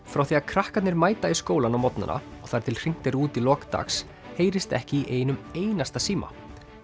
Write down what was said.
frá því að krakkarnir mæta í skólann á morgnana og þar til hringt er út í lok dags heyrist ekki í einum einasta síma